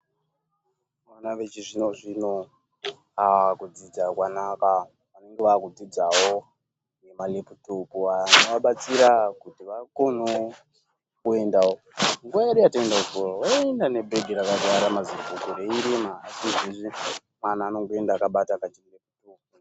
Vona vechizvino zvino ,kudzidza kwanaka .Vakudzidziwo nemaleputopu anowabatsira kuti vakone kuendawo, nguwa yedu yataidzidza waienda nezibhegi rakazara ngemabhuku reirema asi izvezvi mwana anongoenda akabata kachileputopu .